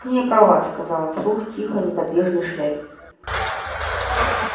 ты не права сказал он вслух тихой неподвижной шляпе